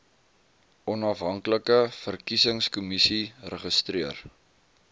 onafhanklike verkiesingskommissie registreer